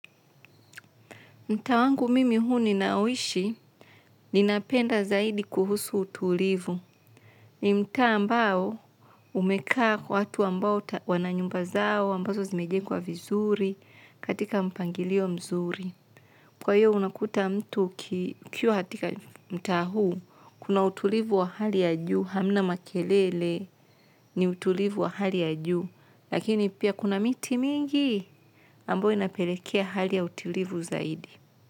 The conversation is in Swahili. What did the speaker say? Mtaa wangu mimi huu ninaoishi, ninapenda zaidi kuhusu utulivu. Ni mtaa ambao umekaa watu ambao wana nyumba zao, ambazo zimejengwa vizuri, katika mpangilio mzuri. Kwa hiyo unakuta mtu ukiwa katika mtaa huu, kuna utulivu wa hali ya juu, hamna makelele ni utulivu wa hali ya juu, lakini pia kuna miti mingi ambayo inapelekea hali ya utulivu zaidi.